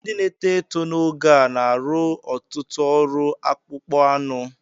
Ndị na-etó etó n'oge a na-arụ ọtụtụ ọrụ akpụ́kpọ́ ánụ